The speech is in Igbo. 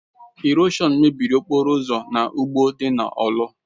Ịròshọn mebiri okporo ụzọ na ugbo dị na Orlu.